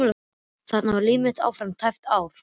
Þannig valt líf mitt áfram í tæpt ár.